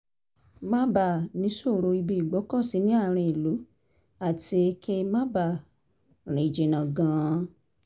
má bàa níṣòro ibi ìgbọ́kọ̀sí ní àárín ìlú àti kí n má bàa máa rìn jìnnà gan-an